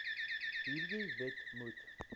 hierdie wet moet